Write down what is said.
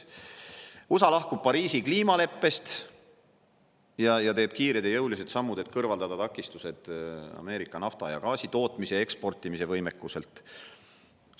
USA lahkub Pariisi kliimaleppest ning teeb kiired ja jõulised sammud, et kõrvaldada takistused Ameerika nafta- ja gaasitootmise eksportimise võimekuselt.